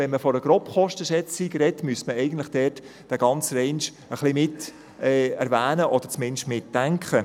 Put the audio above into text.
Wenn man von einer Grobkostenschätzung spricht, müsste man diesen «range» miterwähnen oder zumindest mitdenken.